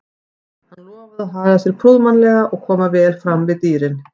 Hann lofaði að haga sér prúðmannlega og koma vel fram við dýrin.